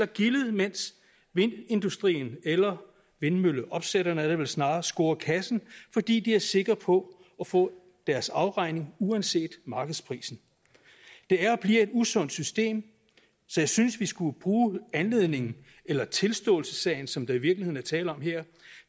gildet mens vindindustrien eller vindmølleopsætterne er det vel snarere scorer kassen fordi de er sikre på at få deres afregning uanset markedsprisen det er og bliver et usundt system så jeg synes vi skulle bruge anledningen eller tilståelsessagen som der i virkeligheden er tale om her